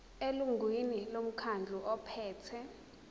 elungwini lomkhandlu ophethe